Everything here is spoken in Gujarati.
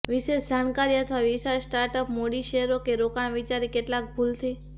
વિશેષ જાણકારી અથવા વિશાળ સ્ટાર્ટ અપ મૂડી શેરો કે રોકાણ વિચારી કેટલાક ભૂલથી